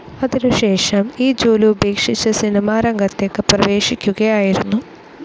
അതിനുശേഷം ഈ ജോലി ഉപേക്ഷിച്ച സിനിമാരംഗത്തേക്ക് പ്രേവേശിക്കുകയായിരുന്നു.